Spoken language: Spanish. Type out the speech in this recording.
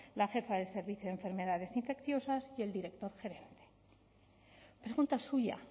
la jefa del servicio de enfermedades infecciosas y el director general pregunta suya